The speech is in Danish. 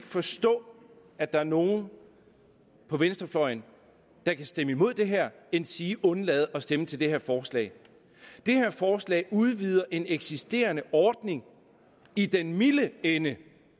forstå at der er nogen på venstrefløjen der kan stemme imod det her endsige undlade at stemme til det her forslag det her forslag udvider en eksisterende ordning i den milde ende